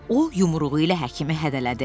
O yumruğu ilə həkimi hədələdi.